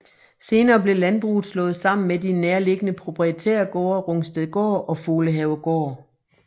Senere blev landbruget slået sammen med de nærliggende proprietærgårde Rungstedgård og Folehavegård